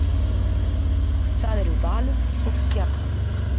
Það eru Valur og Stjarnan